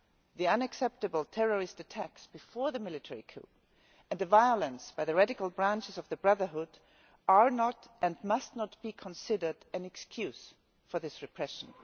the unacceptable terrorist attacks before the military coup and the violence by the radical branches of the Brotherhood are not and must not be considered an excuse for this repression.